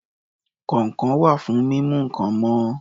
Kọ̀ǹkọ̀ wà fún mímú nǹkan mọ́